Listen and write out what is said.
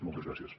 moltes gràcies